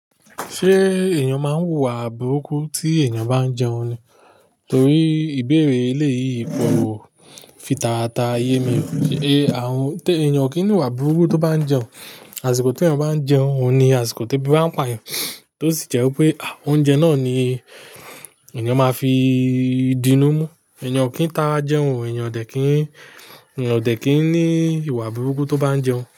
Ṣé èèyàn máa ń wùwà burúkú tí èèyàn bá ń jẹun ni? Torí ìbéèrè eleyi kọ́ wò fi taratara ye mi, ṣe àwọn-- té èèyàn kì í ní ìwà burúkú tó bá ń jẹun. Àsìkò tí èèyàn bá ń jẹun ni àsìkò tó ebi ba n pààyàn, tó sì jẹ́ pé, à, oúnjẹ náà ni èèyàn máa fi dínú mú. Èèyàn kì í tara jẹun, èèyàn dẹ̀ kì í, èèyàn dẹ̀ kì í ní ìwà burúkú tó bá ń jẹun.